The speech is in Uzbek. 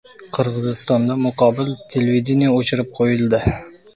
Qirg‘izistonda muqobil televideniye o‘chirib qo‘yildi.